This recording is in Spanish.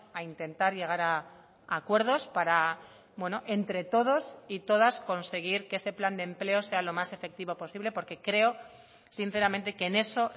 a intentar llegar a acuerdos para entre todos y todas conseguir que ese plan de empleo sea lo más efectivo posible porque creo sinceramente que en eso